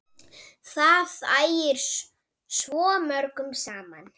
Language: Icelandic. Það ægir svo mörgu saman.